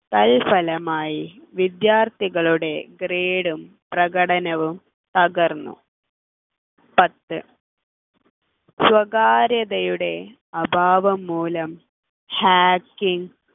തൽഫലമായി വിദ്യാർത്ഥികളുടെ grade ഉം പ്രകടനവും തകർന്നു പത്ത് സ്വകാര്യ സ്വകാര്യതയുടെ അഭാവം മൂലം hacking